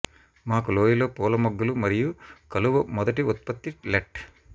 మాకు లోయలో పూల మొగ్గలు మరియు కలువ మొదటి ఉత్పత్తి లెట్